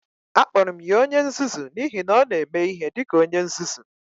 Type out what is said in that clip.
Akpọrọ m ya onye nzuzu n'ihi na ọ na-eme ihe dị ka onye nzuzu.